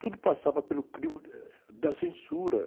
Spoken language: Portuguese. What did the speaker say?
Tudo passava pelo crivo da censura.